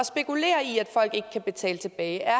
spekulere i at folk ikke kan betale tilbage er